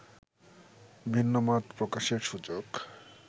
ভিন্নমত প্রকাশের সুযোগ